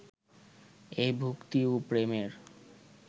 এই ভক্তি ও প্রেমের